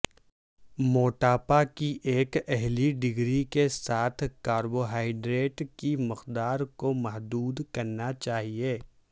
موٹاپا کی ایک اعلی ڈگری کے ساتھ کاربوہائیڈریٹ کی مقدار کو محدود کرنا چاہئے